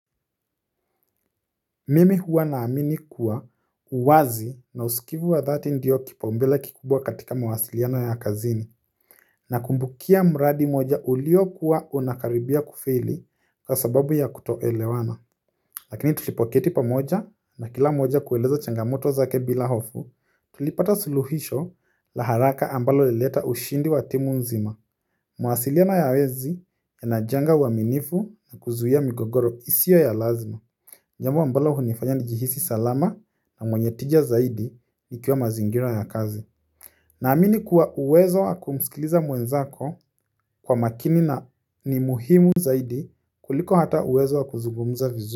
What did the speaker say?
Mimi huwa naamini kuwa uwazi na usikivu wa dhati ndiyo kipaumbele kikubwa katika mwasiliano ya kazini. Nakumbukia mradi moja uliokuwa unakaribia kufeli kwa sababu ya kutoelewana lakini tulipoketi pamoja na kila mmoja kueleza changamoto zake bila hofu tulipata suluhisho la haraka ambalo lilileta ushindi wa timu nzima mawasiliano ya wezi yanajanga uaminifu na kuzuia migogoro isio ya lazima jambo ambalo hunifanya nijihisi salama na mwenye tija zaidi ikiwa mazingira ya kazi. Naamini kuwa uwezo wa kumskiliza mwenzako kwa makini na ni muhimu zaidi kuliko hata uwezo wa kuzugumza vizu.